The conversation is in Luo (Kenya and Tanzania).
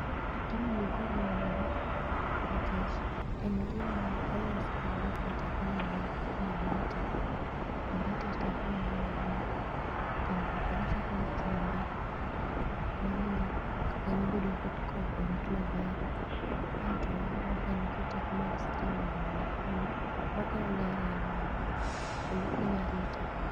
Gini nikod nengo nikech en gima olos kod gikma teko gi ngeny kaka mabati, mabati teko ne ngeny ahinya kendo olose kod chumbe mamiyo kanyo bedo korit maber aito aneno ka nigi teko mar stima bende nikure makelo ler e aluora no kendo kelo arita